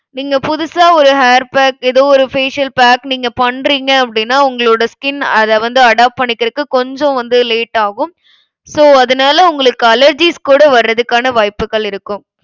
நீங்க புதுசா ஒரு hair pack ஏதோ ஒரு facial pack நீங்க பண்றிங்க அப்டினா உங்களோட skin அதை வந்து adopt பண்ணிக்கறதுக்கு கொஞ்சம் வந்து late ஆகும். so அதனால உங்களுக்கு allergies கூட வர்றதுக்கான வாய்ப்புக்கள் இருக்கும்.